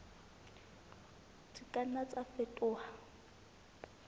di ka nna tsa fetoha